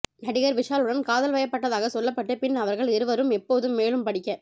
நடிகர் விஷாலுடன் காதல் வயப்பட்டதாக சொல்லபட்டு பின் அவர்கள் இருவரும் எப்போதும் மேலும் படிக்க